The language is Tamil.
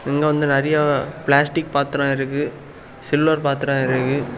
இங்க வந்து நெறய பிளாஸ்டிக் பாத்தரம் இருக்கு சில்வர் பாத்தரம் இருக்கு.